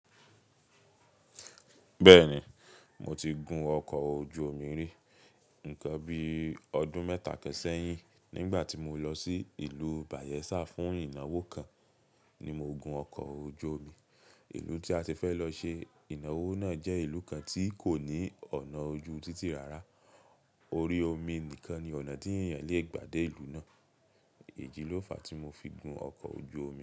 Bẹ́ẹ̀ni, mo ti gun ọkọ̀ ojú omi rí. Nǹkan bí ọdún mẹ́ta ṣẹ̀yìn nígbà tí mo lọ sí ìlú Bayelsa fún ìnáwó kan ni mo gun ọkọ̀ ojú omi. Ìlú tí a ti fẹ́ lọ ṣe ìnáwó náà jẹ́ ìlú kan tí kò ní ọ̀nà ojú títì rara. Orí omi nìkan ni ọ̀nà tí èèyàn lè gbà dé ìlú náà. Ìdí ló fàá tí mo fi gun ọkọ̀ ojú omi.